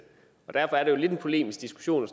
derfor er det jo lidt en polemisk diskussion